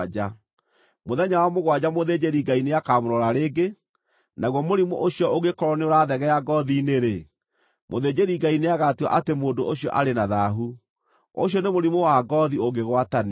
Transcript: Mũthenya wa mũgwanja mũthĩnjĩri-Ngai nĩakamũrora rĩngĩ, naguo mũrimũ ũcio ũngĩkorwo nĩũrathegea ngoothi-inĩ-rĩ, mũthĩnjĩri-Ngai nĩagatua atĩ mũndũ ũcio arĩ na thaahu; ũcio nĩ mũrimũ wa ngoothi ũngĩgwatanio.